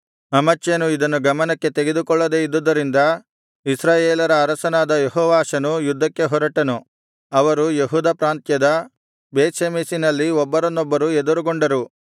ಅಮಚ್ಯನು ಇದನ್ನು ಗಮನಕ್ಕೆ ತೆಗೆದುಕೊಳ್ಳದೆ ಇದ್ದುದರಿಂದ ಇಸ್ರಾಯೇಲರ ಅರಸನಾದ ಯೆಹೋವಾಷನು ಯುದ್ಧಕ್ಕೆ ಹೊರಟನು ಅವರು ಯೆಹೂದ ಪ್ರಾಂತ್ಯದ ಬೇತ್ಷೆಮೆಷಿನಲ್ಲಿ ಒಬ್ಬರನ್ನೊಬ್ಬರು ಎದುರುಗೊಂಡರು